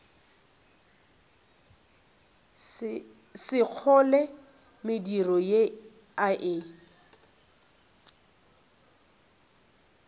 sekgole mediro ye a e